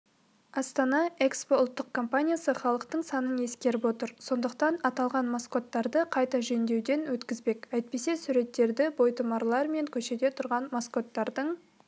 астана экспо ұлттық компаниясы халықтың сынын ескеріп отыр сондықтан аталған маскоттарды қайта жөндеуден өткізбек әйтпесе суреттегі бойтұмарлар мен көшеде тұрған маскоттардың